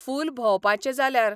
फूल भोंवपाचें जाल्यार.